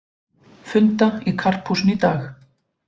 Funda í Karphúsinu í dag